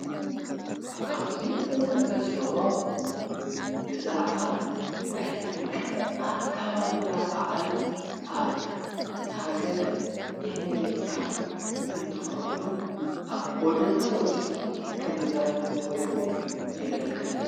ካብዙይ እንዕዝዎ ብዛዕባ ናይ ጥምቀት ኣካባብራ በዓል ኣብ ሃገረ አሜሪካ እንትኸውን ኣብ ጐደና ወፂኦም ከምዘኽርዎ የመልክተና።